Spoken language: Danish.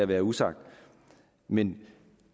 være usagt men